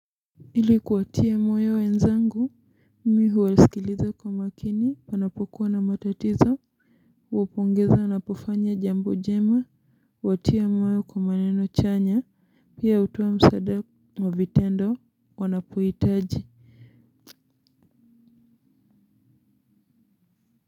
Ili kuwatia moyo wenzangu, mimi huwasikiliza kwa makini panapokuwa na matatizo, huwapongeza wanapofanya jambo jema, huwatia moyo kwa maneno chanya, pia hutoa msaada wa vitendo wanapohitaji.